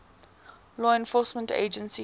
law enforcement agencies